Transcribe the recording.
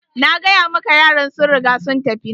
Nagaya maka yaran sun riga sun tafi.